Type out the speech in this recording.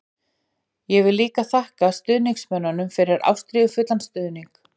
Ég vil líka þakka stuðningsmönnum fyrir ástríðufullan stuðning.